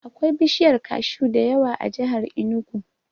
Akwai bishiyar kashu da yawa a jihar Inugu.